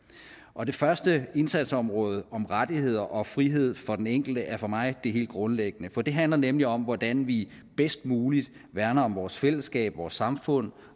og det første indsatsområde om rettigheder og frihed for den enkelte er for mig det helt grundlæggende for det handler nemlig om hvordan vi bedst muligt værner om vores fællesskab vores samfund